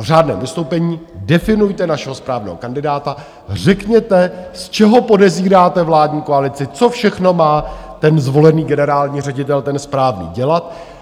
řádném vystoupení definujte našeho správného kandidáta, řekněte, z čeho podezíráte vládní koalici, co všechno má ten zvolený generální ředitel, ten správný, dělat.